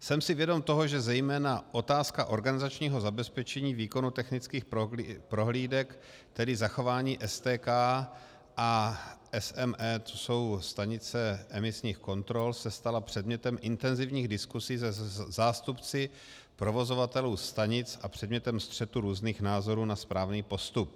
Jsem si vědom toho, že zejména otázka organizačního zabezpečení výkonu technických prohlídek, tedy zachování STK a SEM, to jsou stanice emisních kontrol, se stala předmětem intenzivních diskusí se zástupci provozovatelů stanic a předmětem střetu různých názorů na správný postup.